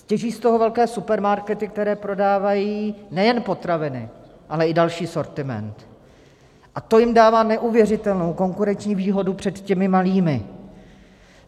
Těží z toho velké supermarkety, které prodávají nejen potraviny, ale i další sortiment, a to jim dává neuvěřitelnou konkurenční výhodu před těmi malými.